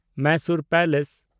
Mysore palace